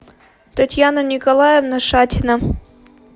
татьяна николаевна шатина